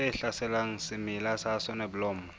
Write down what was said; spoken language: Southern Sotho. tse hlaselang semela sa soneblomo